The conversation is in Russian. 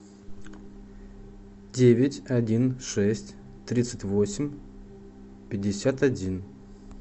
девять один шесть тридцать восемь пятьдесят один